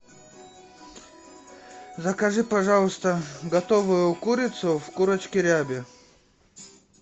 закажи пожалуйста готовую курицу в курочке рябе